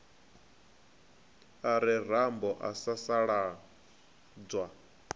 a re rambo a sasaladzwa